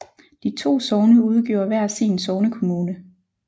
De to sogne udgjorde hver sin sognekommune